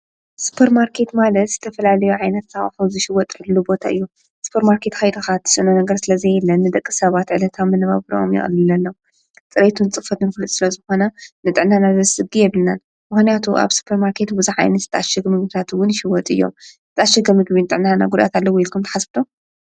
ሱጰር ማርከት ማለስ ዝተፈላልዮ ዓይነት ኣዋሕ ዝሽይወጥዕሉ ቦት እዮ ስጰር ማርከት ካይድኻ ስእነ ነገር ስለ ዘየለን ንደቂ ሰባት ዕለታም ምነባብሮኦም የቕሉለኣለዉ ጽሬይቱን ጽፈት ንፍሉጥ ስለ ዝኾነ ንጠዕናና ዘዝ ጊ የብልናን ምሆንያቱ ኣብ ስጰር ማርከት ብዛ ይኒ ዝጣሽግ ምሙታትውን ይሽይወጥ እዮም ዝጣሽገ ምግቢን ጠዕናና ጕዳት ኣለ ውኢልኩም ተሓስቡ?